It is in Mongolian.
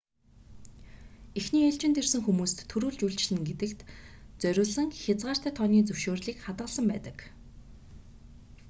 эхний ээлжинд ирсэн хүмүүст түрүүлж үйлчилнэ гэдэгт зориулсан хязгаартай тооны зөвшөөрлийг хадгалсан байдаг